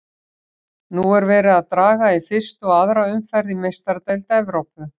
Nú er verið að draga í fyrstu og aðra umferð í Meistaradeild Evrópu.